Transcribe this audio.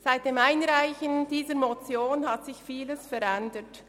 Seit der Einreichung dieser Motion hat sich vieles verändert.